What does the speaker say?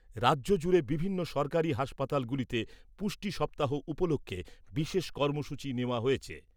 রাজ্য জুড়ে বিভিন্ন সরকারি হাসপাতালগুলিতে পুষ্টি সপ্তাহ উপলক্ষে বিশেষ কর্মসূচী নেওয়া হয়েছে ।